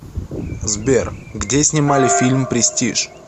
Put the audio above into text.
сбер где снимали фильм престиж